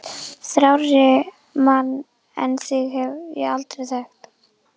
Þrárri mann en þig hef ég aldrei þekkt!